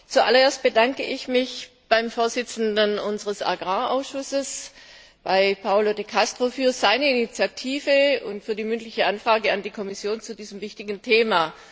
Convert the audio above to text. Zu allererst bedanke ich mich beim Vorsitzenden unseres Agrarausschusses, bei Paolo De Castro, für seine Initiative und für die mündliche Anfrage an die Kommission zu diesem wichtigen Thema.